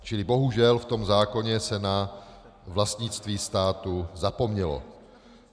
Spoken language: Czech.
Čili bohužel v tom zákoně se na vlastnictví státu zapomnělo.